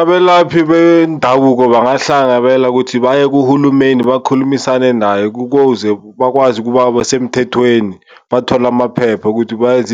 Abelaphi bendabuko bangahlangabela kuthi baye kuhulumeni bakhulumisane naye kukuze bakwazi ukuba basemthethweni, bathole amaphepha ukuthi bayenze